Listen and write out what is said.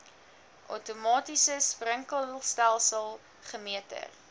outomatiese sprinkelstelsels gemeter